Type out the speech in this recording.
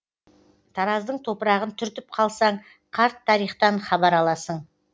тараздың топырағын түртіп қалсаң қарт тарихтан хабар аласың